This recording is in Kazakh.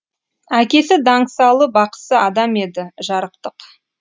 әкесі даңсалы бақсы адам еді жарықтық